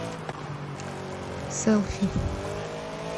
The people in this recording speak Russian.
селфи